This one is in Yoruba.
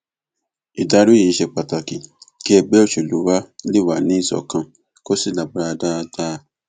ìdarí yìí ṣe pàtàkì kí ẹgbẹ òṣèlú wa lè wà níṣọkan kó sì lágbára dáadáa